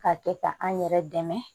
K'a kɛ ka an yɛrɛ dɛmɛ